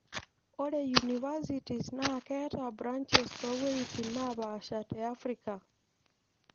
Ore universities naa keeta branches toowuitin naapasha te Africa.